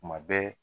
Kuma bɛɛ